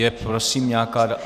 Je, prosím, nějaká...